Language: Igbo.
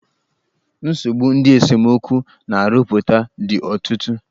Nsogbu ndị esemokwu na-arụpụta dị ọtụtụ.